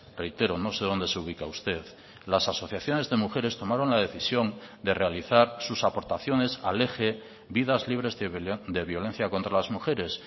reitero no sé dónde se ubica usted las asociaciones de mujeres tomaron la decisión de realizar sus aportaciones al eje vidas libres de violencia contra las mujeres